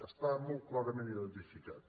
està molt clarament iden·tificat